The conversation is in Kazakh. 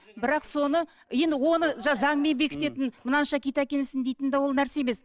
бірақ соны енді оны заңмен бекітетін мынанша киіт әкелсін дейтін де ол нәрсе емес